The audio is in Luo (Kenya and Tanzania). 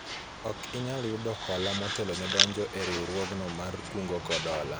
ok inyal yudo hola motelo ne donjo e riwruogno mar kungo kod hola